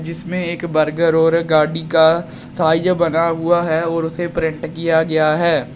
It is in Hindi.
इसमें एक बर्गर और गाड़ी का साइज बना हुआ है और उसे प्रिंट किया गया है।